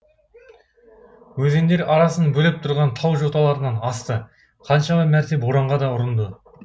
өзендер арасын бөліп тұрған тау жоталарынан асты қаншама мәрте боранға да ұрынды